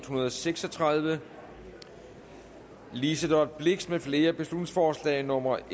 hundrede og seks og tredive liselott blixt med flere beslutningsforslag nummer